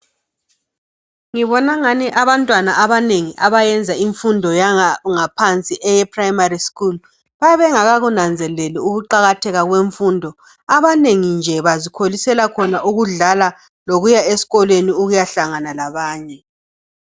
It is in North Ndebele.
Ngibonangani abantwana abanengi abayenza imfundo yangaphansi eye primary school bayabe bengakakunanzeleli ukuqakatheka kwemfundo abanengi nje bazikholisela ukudlala lokuya esikolweni ukuyahlangana labanye .